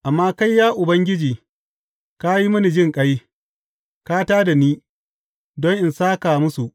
Amma kai, ya Ubangiji, ka yi mini jinƙai, ka tā da ni, don in sāka musu.